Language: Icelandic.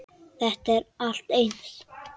Þetta er allt eins!